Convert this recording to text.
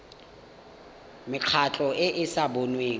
mekgatlho e e sa boneng